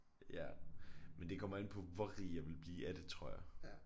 Ja men det kommer an på hvor rig jeg ville blive af det tror jeg